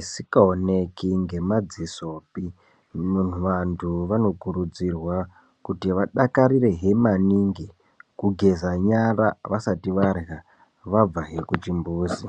isikaoneki ngemadzisopi.. Vantu vanokurudzirwa kuti vodakarirehe maningi kugeza nyara vasati varya, vabvahe kuchimbuzi.